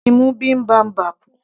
bá mi mú bibimbap